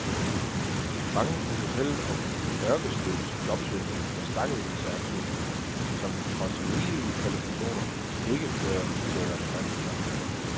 Mange kunne fortælle om ørkesløs jobsøgning med stakkevis af ansøgninger, som trods rigelige kvalifikationer ikke fører til relevante job.